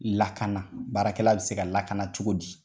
Lakana baarakɛla bi se ka lakana cogo di ?